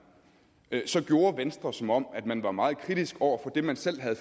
så gjorde venstre som om man var meget kritisk over for det man selv havde